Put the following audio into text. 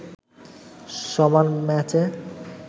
সমান ম্যাচে